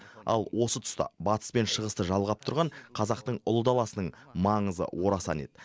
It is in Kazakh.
ал осы тұста батыс пен шығысты жалғап тұрған қазақтың ұлы даласының маңызы орасан еді